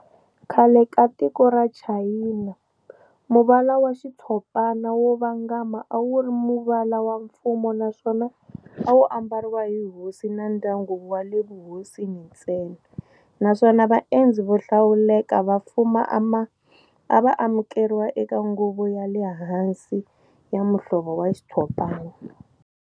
Khale ka tiko ra Chayina, muvala wa xitshopana wo vangama a wuri muvala wa mfumo naswona awu ambariwa hi hosi na ndyangu wale vuhosini ntsena, naswona va endzi vo hlawuleka va mfumo ava amukeriwa eka nguvo ya lehansi ya muvala wa xitshopana.